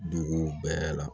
Dugu bɛɛ la